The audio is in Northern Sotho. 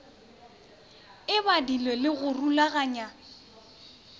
e badilwego le go rulaganywa